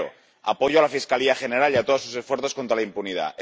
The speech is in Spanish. Primero apoyo a la Fiscalía General y a todos sus esfuerzos contra la impunidad.